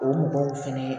O mɔgɔw fɛnɛ